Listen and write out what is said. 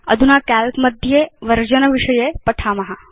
अधुना काल्क मध्ये वर्जन विषये पठाम